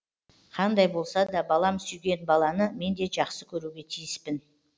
қандай болса да балам сүйген баланы мен де жақсы көруге тиіспін